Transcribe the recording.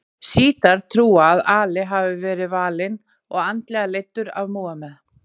Sjítar trúa að Ali hafi verið valinn og andlega leiddur af Múhameð.